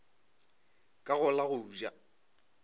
ka go la go ja